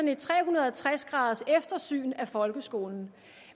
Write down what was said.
et tre hundrede og tres graders eftersyn af folkeskolen